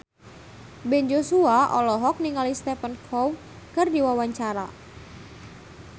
Ben Joshua olohok ningali Stephen Chow keur diwawancara